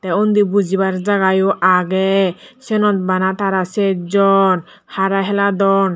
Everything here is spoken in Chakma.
te undi bujibar jaga yo agey siyenot bana tara sech jon hara heladon.